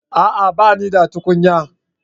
A'a! Ba ni da tukunya.